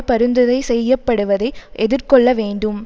பரிந்துரை செய்யப்படுவதை எதிர்கொள்ள வேண்டும்